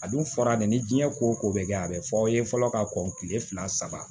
A dun fɔra dɛ ni diɲɛ ko o ko bɛ kɛ a bɛ fɔ aw ye fɔlɔ ka kɔn kile fila saba